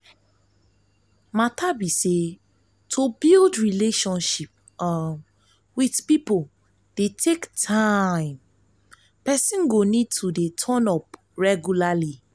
matter be say to build relationship um with pipo dey take time person go need to turn up regularly